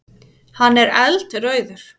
Hann er eldrauður.